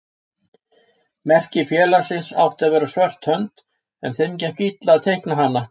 Merki félagsins átti að vera svört hönd en þeim gekk illa að teikna hana.